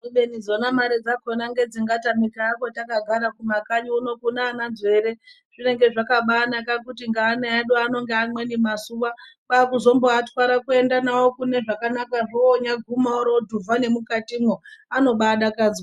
Kubeni dzona mare dzakona ngedzingatamika hako takagara kumakanyi uno kunana nzvere zvinenge zvakabanaka kuti ngeana edu anonge amweni mazuwa kwazumboatware kuende nawo kune zvakanakazvo onyaguma orodhuvha nemukatimwo anobadakadzwa.